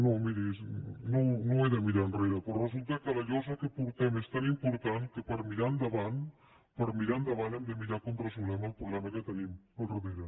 no miri no he de mirar enrere però resulta que la llosa que portem és tan important que per mirar endavant per mirar endavant hem de mirar com resolem el problema que tenim al darrere